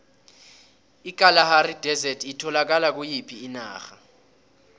ikalahari desert itholakala kuyiphi inarha